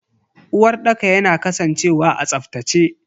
Uwarɗaka yana kasancewa a tsaftace.